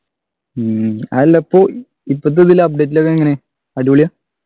ഉം അതെല്ല ഇപ്പൊ ഇപ്പോത്തെ ബെല്ല update ന്റെ ഒക്കെ എങ്ങനെയാ അടിപൊളിയാ